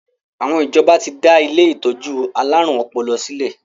Àwọn ìjọba ti dá ilé ìtọ́jú alárùn ọpọlọ sílè.